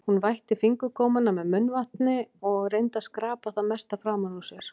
Hún vætti fingurgómana með munnvatni og reyndi að skrapa það mesta framan úr sér.